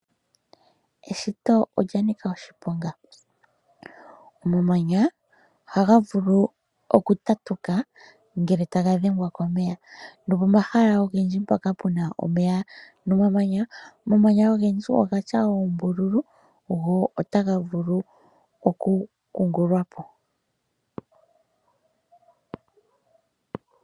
Eshito olya nika oshiponga. Omamanya ohaga vulu okutatuka ngele taga dhengwa komeya. Nopomahala mpoka pu na omeya nomamanya ogendji oga tya oombululu go otaga vulu okukungululwa po.